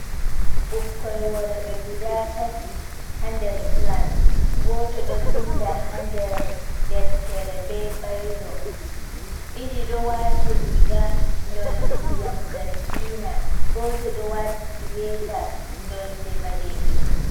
Ɓukkoy worɓe guda tati ha nder klas. Goto ɗo vinda ha nder deftere be bayro. Ɗiɗi ɗo wati riga nonde ndiyam zargina. Goto ɗo wati suweta nonde ɓalejum.